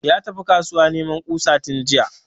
Ya tafi kasuwa neman kusa tun jiya